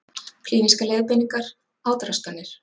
Klínískar leiðbeiningar, átraskanir.